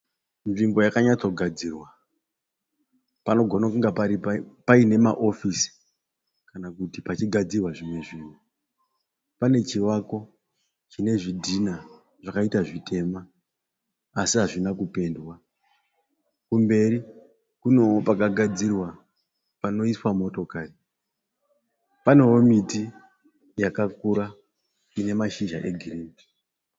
Nzvimbo yakanyatsogadzirwa ,panogona kunge paine maofisi kana kuti pachigadzirwa zvimwe zvinhu, pane chivako chine zvidhina zvakaita zvitema asi hazvina kupendwa, kumberi kunowo pakagadzirwa panoiswa motokari, panowo miti yakakura ine mashizha egirini.